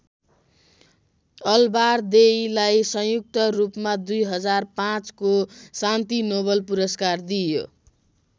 अलबारदेईलाई संयुक्त रूपमा २००५ को शान्ति नोबेल पुरस्कार दिइयो।